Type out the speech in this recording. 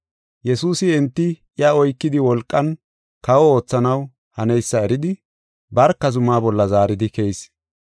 Yesuusi enti iya oykidi wolqan kawo oothanaw haneysa eridi, barka zumaa bolla zaaridi keyis.